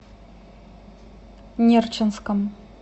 нерчинском